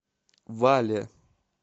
вале